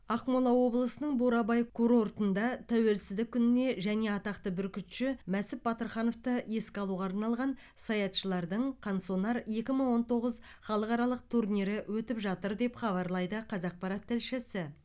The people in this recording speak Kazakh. ақмола облысының бурабай курортында тәуелсіздік күніне және атақты бүркітші мәсіп батырхановты еске алуға арналған саятшылардың қансонар екі мың он тоғыз халықаралық турнирі өтіп жатыр деп хабарлайды қазақпарат тілшісі